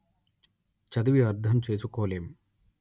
చదివి అర్ధంచేసుకోలేం